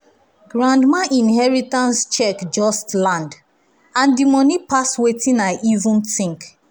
grandma inheritance check just land and di money pass wetin i even think.